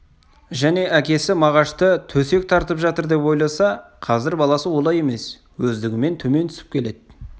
және әкесі мағашты төсек тартып жатыр деп ойласа қазір баласы олай емес өздігімен төмен түсіп келеді